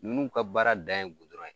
Nunnu ka baara dan ye ye.